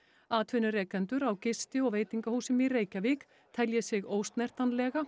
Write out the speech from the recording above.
atvinnurekendur á gisti og veitingahúsum í Reykjavík telji sig